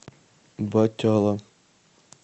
батяла